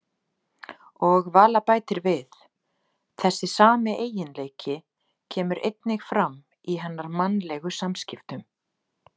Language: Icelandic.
Og Vala bætir við: Þessi sami eiginleiki kemur einnig fram í hennar mannlegu samskiptum.